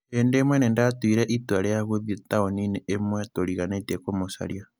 Hĩndĩ ĩmwe nĩ ndaatuire itua rĩa gũthiĩ taũni-inĩ ĩmwe tũriganĩtie kumũcaria.